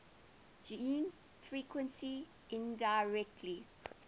gene frequency indirectly